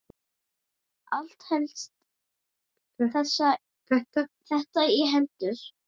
Allt helst þetta í hendur.